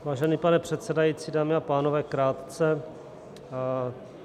Vážený pane předsedající, dámy a pánové, krátce.